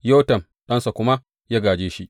Yotam ɗansa, kuma ya gāje shi.